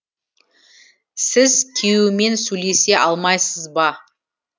сіз күйеуімен сөйлесе алмайсыз ба